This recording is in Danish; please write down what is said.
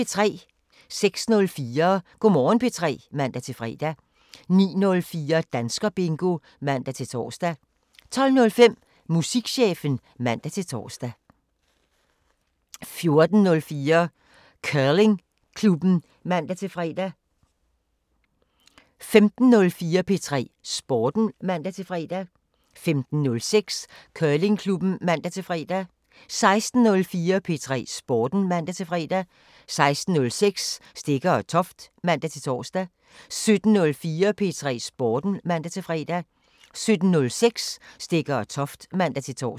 06:04: Go' Morgen P3 (man-fre) 09:04: Danskerbingo (man-tor) 12:05: Musikchefen (man-tor) 14:04: Curlingklubben (man-fre) 15:04: P3 Sporten (man-fre) 15:06: Curlingklubben (man-fre) 16:04: P3 Sporten (man-fre) 16:06: Stegger & Toft (man-tor) 17:04: P3 Sporten (man-fre) 17:06: Stegger & Toft (man-tor)